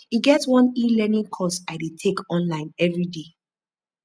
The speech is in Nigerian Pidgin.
e get one elearning course i dey take online everyday